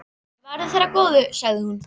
Verði þér að góðu, sagði hún.